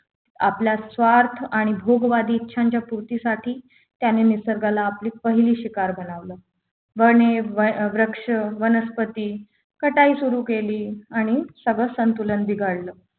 आपला स्वार्थ आणि भोगवादी इच्छांच्या पूर्तीसाठी त्यांनी निसर्गाला आपली पहिली शिकार बनवलं वने वृक्ष वनस्पती कटाई सुरू केली आणि सगळ संतुलन बिघडल